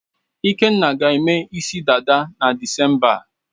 Ikenna ga-eme isi dada na Disemba a.